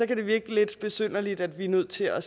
det kan virke lidt besynderligt at vi er nødt til at